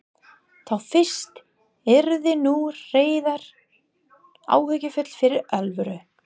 Þá fyrst yrði nú Heiða áhyggjufull fyrir alvöru.